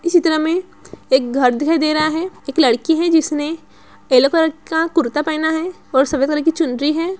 इस चित्र में एक घर दिखाई दे रहा है एक लड़की है जिसने येलो कलर का कुर्ता पहना है और सफेद कलर की चुनरी है।